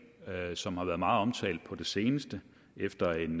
som har været meget omtalt på det seneste efter en